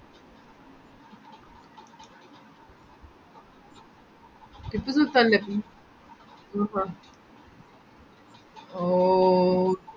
ടിപ്പുസുൽത്താൻ ലെ ആഹ് ആഹ് ഓ